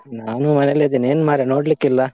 ನಾನು ಮನೇಲೇ ಇದ್ದೇನೆ, ಎನ್ಮಾರೆ ನೋಡ್ಲಿಕ್ಕಿಲ್ಲಾ?